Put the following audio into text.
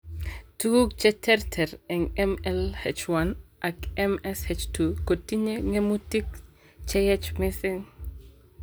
Tekutik cheterter en MLH1 ak MSH2 kotinye ng'emutik cheyeech missing.